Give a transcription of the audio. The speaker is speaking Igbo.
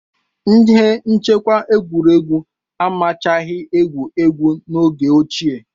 Ihe nchekwa egwuregwu amachaghị ewu ewu n'oge ochie.